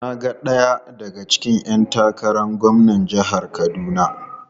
Na ga daya daga cikin ‘yan takarar gwamnan jihar Kaduna.